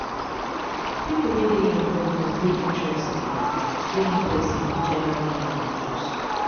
pipo wey de involve must de interest in de interest in which ever game them choose